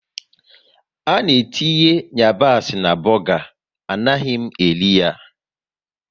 Ana etinye yabasị na buga, anaghị m eri ya